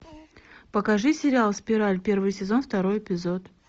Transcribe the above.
покажи сериал спираль первый сезон второй эпизод